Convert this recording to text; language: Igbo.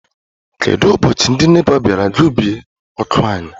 Kedụ ụbọchị ndị NEPA bịara gbubie ọkụ anyị?